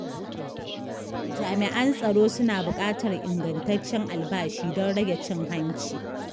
Jami’an tsaro suna buƙatar ingantaccen albashi don rage cin hanci.